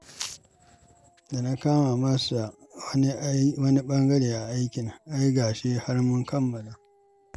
Da na kama masa wani bangaren a aikin, ai ga shi har mun kammala